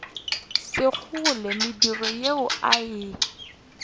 sekgole mediro ye a e